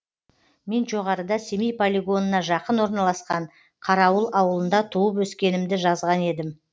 мен жоғарыда семей полигонына жақын орналасқан қарауыл ауылында туып өскенімді жазған едім